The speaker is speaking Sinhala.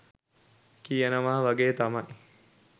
කියනවා වගේ තමයි.